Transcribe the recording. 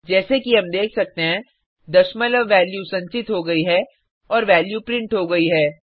जैसे कि हम देख सकते हैं दशमलव वैल्यू संचित हो गई है और वैल्यू प्रिंट हो गई है